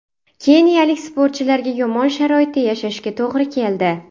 Keniyalik sportchilarga yomon sharoitda yashashga to‘g‘ri keldi.